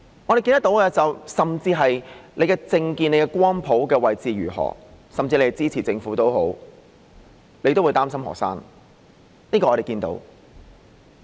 我們看到的是，無論你的政見或光譜的位置如何，甚至你是支持政府也好，你都會擔心學生，這個情況我們是看到的。